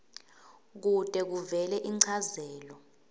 kute kuvele inchazelo